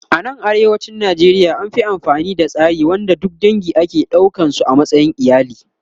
A nan arewacin Najeriya an Fi amfani da tsari wanda duk dange ake ɗaukan su a matsayin iyali